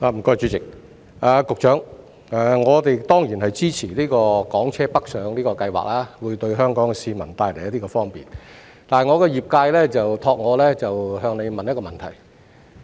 局長，我們當然支持港車北上計劃，因為這樣會為香港市民帶來方便，但我的業界委託我向局長提出一個問題。